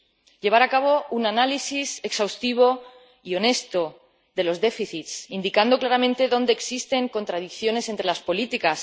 y llevar a cabo un análisis exhaustivo y honesto de los déficits, indicando claramente dónde existen contradicciones entre las políticas.